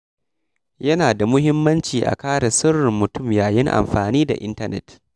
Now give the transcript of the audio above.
Yana da muhimmanci a kare sirrin mutum yayin amfani da intanet.